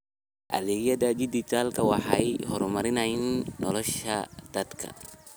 Adeegyada dijitaalka ah waxay horumariyaan nolosha dadka.